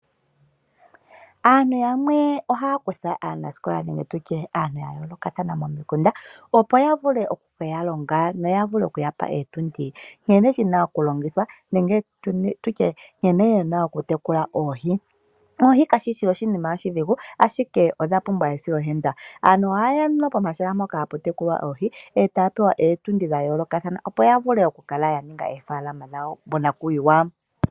Aantu yamwe ohaya kutha aanasikola nenge aantu ya yoolokathana momikunda, opo ya vule okuya longa noya vule okuya pa ootundi nkene shi na okulongithwa nenge tu tye nkene ye na okutekula oohi. Oohi kashi shi oshinima oshidhigu ashike odha pumbwa esiloshimpwiyu. Aantu ohaye ya pomahala mpoka hapu tekulwa oohi e taya pewa ootundi dha yoolokathana, opo ya vule okukala ya ninga oofaalama dhawo monakuyiwa.